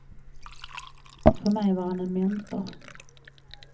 För mig var han en mentor.